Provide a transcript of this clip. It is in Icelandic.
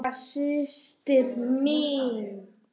Eina systir mín.